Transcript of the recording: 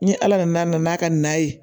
Ni ala nana n'a ka na ye